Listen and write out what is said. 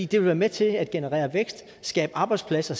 det vil være med til at generere vækst skabe arbejdspladser